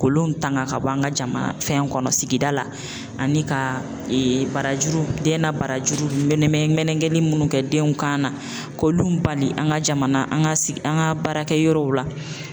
Kolon tanga ka bɔ an ka jamana fɛn kɔnɔ sigida la, ani ka barajuru den na barajuru menemɛn menegeli munnu kɛ denw kan na, k'olu bali an ka jamana an ka sigi an ka baarakɛ yɔrɔw la.